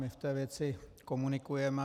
My v té věci komunikujeme.